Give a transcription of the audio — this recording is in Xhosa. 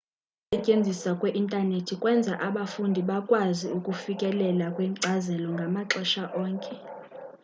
ukusetyenziswa kwe-intanethi kwenza abafundi bakwazi ukufikelela kwinkcazelo ngamaxesha onke